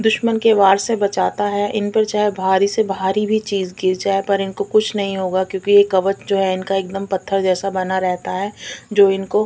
दुश्मन के वार से बचता है इनपे चाहे भरी से भरी चीज़ भी गिर जाये पर इनको कुछ नहीं होगा क्युकी ये कवच जो है इनका एकदम पत्थर जैसा बना रहता है जो इनको --